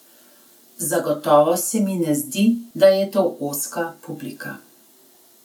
Zagotovo se mi ne zdi, da je to ozka publika.